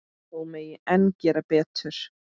Þó megi enn gera betur.